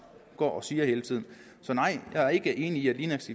går og siger hele tiden så nej jeg er ikke enig i at linaks